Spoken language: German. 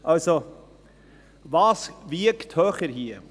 Also: Was wiegt hier höher: